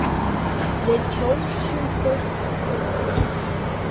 Við kjósum fólk á þing.